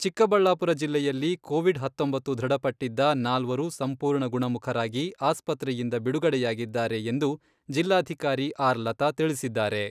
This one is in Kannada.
ಚಿಕ್ಕಬಳ್ಳಾಪುರ ಜಿಲ್ಲೆಯಲ್ಲಿ ಕೋವಿಡ್ ಹತ್ತೊಂಬತ್ತು ದೃಢಪಟ್ಟಿದ್ದ ನಾಲ್ವರು ಸಂಪೂರ್ಣ ಗುಣಮುಖರಾಗಿ ಆಸ್ಪತ್ರೆಯಿಂದ ಬಿಡುಗಡೆಯಾಗಿದ್ದಾರೆ ಎಂದು ಜಿಲ್ಲಾಧಿಕಾರಿ ಆರ್ ಲತಾ ತಿಳಿಸಿದ್ದಾರೆ.